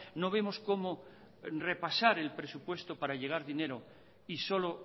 no vemos cómo repasar el presupuesto para llevar dinero y solo